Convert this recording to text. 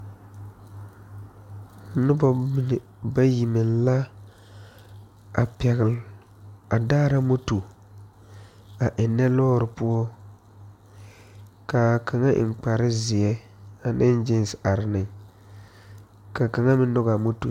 Nobo mine bayi meŋ la pegle a daare moto a eŋe lɔre poɔ kaa kaŋa eŋ kpare zie ane gesee are ne ka kaŋa mine nyoŋ a moto.